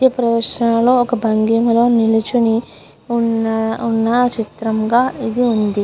ఈ ప్రదేశంలో ఒక బండి మీద నిలుచుని వున్న ఉన్న చిత్రంగా ఇది ఉంది.